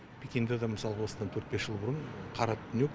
пекинда да мысалғы осыдан төрт бес жыл бұрын қара түнек